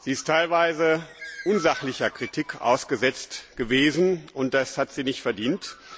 Sie ist teilweise unsachlicher Kritik ausgesetzt gewesen, und das hat sie nicht verdient.